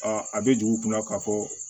a bɛ dugu kunna k'a fɔ